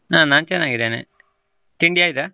ನಾ ನಾನ್ ಚನ್ನಾಗಿದೆನೆ ತಿಂಡಿ ಆಯ್ತಾ?